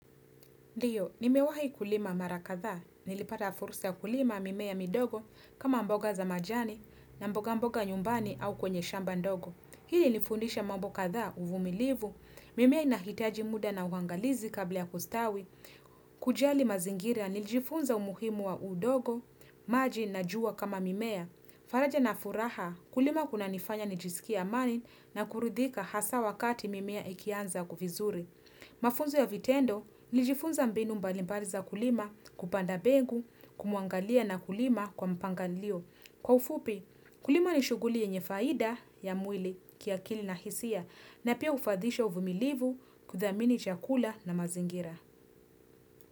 Ndio, nimewahi kulima mara kadhaa, nilipata fursa kulima mimea midogo kama mboga za majani na mboga mboga nyumbani au kwenye shamba ndogo. Hii hunifundisha mambo kadhaa uvumilivu, mimea inahitaji muda na uangalizi kabla ya kustawi. Kujali mazingira, nilijifunza umuhimu wa udongo, maji na jua kama mimea. Faraja na furaha, kulima kuna nifanya nijisikie amani na kuridhika hasa wakati mimea ikianza vizuri. Mafunzo ya vitendo, nilijifunza mbinu mbalimbali za kulima kupanda mbegu kumuangalia na kulima kwa mpangilio. Kwa ufupi, kulima ni shughuli yenye faida ya mwili kiakili na hisia na pia ufadhisha uvumilivu kudhamini chakula na mazingira.